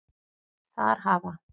Þar hafa